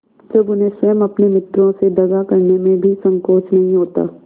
जब उन्हें स्वयं अपने मित्रों से दगा करने में भी संकोच नहीं होता